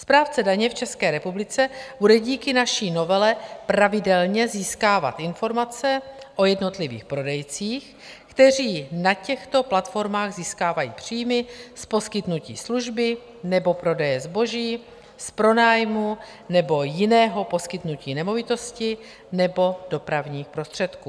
Správce daně v České republice bude díky naší novele pravidelně získávat informace o jednotlivých prodejcích, kteří na těchto platformách získávají příjmy z poskytnutí služby nebo prodeje zboží, z pronájmu nebo jiného poskytnutí nemovitosti nebo dopravních prostředků.